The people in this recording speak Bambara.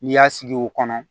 N'i y'a sigi o kɔnɔ